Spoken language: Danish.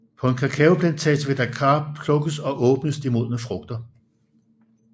På en kakaoplantage ved Dakar plukkes og åbnes de modne frugter